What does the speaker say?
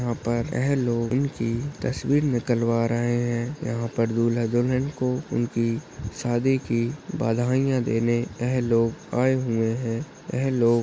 यहाँ पर एह लोग इनकी तस्वीर निकलवा रहे है यहाँ पर दूल्हा-दुल्हन को उनकी शादी की बधाइयाँ देने एह लोग आए हुए है एह लोग----